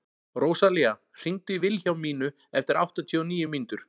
Rósalía, hringdu í Vilhjálmínu eftir áttatíu og níu mínútur.